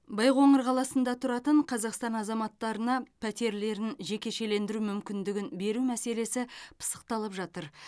байқоңыр қаласында тұратын қазақстан азаматтарына пәтерлерін жекешелендіру мүмкіндігін беру мәселесі пысықталып жатыр